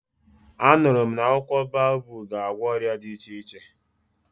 A nụrụ m na akwụkwọ baobabu ga-agwọ ọrịa dị iche iche.